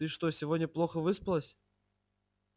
ты что сегодня плохо выспалась